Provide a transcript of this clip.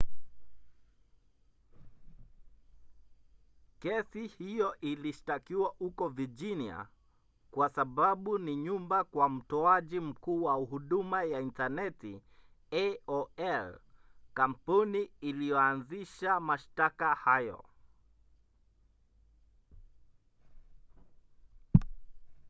kesi hiyo ilishtakiwa huko virginia kwa sababu ni nyumbani kwa mtoaji mkuu wa huduma ya intaneti aol kampuni iliyoanzisha mashtaka hayo